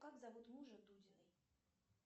как зовут мужа дудиной